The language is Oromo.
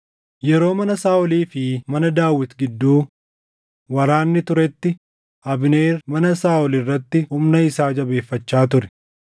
Yeroo mana Saaʼolii fi mana Daawit gidduu waraanni turetti Abneer mana Saaʼol irratti humna isaa jabeeffachaa ture.